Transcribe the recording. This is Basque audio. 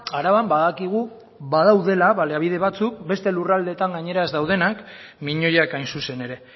araban badakigu badaudela baliabide batzuk beste lurraldeetan gainera ez daudenak miñoiak hain zuzen ere